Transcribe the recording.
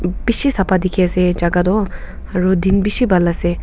bishi sapa sikhiase jaka toh aro din bishi bhal ase.